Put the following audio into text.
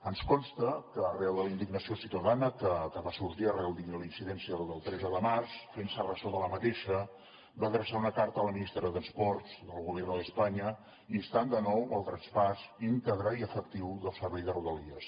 ens consta que arran de la indignació ciutadana que va sorgir arran de la incidència del tretze de març fent se ressò d’aquesta va adreçar una carta a la ministra de transports del gobierno de españa instant de nou el traspàs íntegre i efectiu del servei de rodalies